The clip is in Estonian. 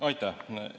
Aitäh!